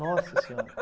Nossa senhora.